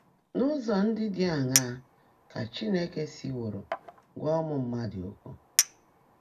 N’ụ́zọ́ ndị́ ḍị́ áṅaá kà Chínekè síwóró gwá ụ́mụ́ mmádụ́ ókwụ́?